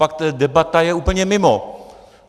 Pak ta debata je úplně mimo.